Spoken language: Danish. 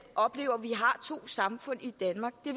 oplever at vi har to samfund i danmark det